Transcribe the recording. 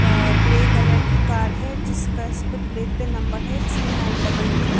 अ grey colour की car है जिसका इसपे प्लेट पे नंबर है थ्री नाइन डबल टू ।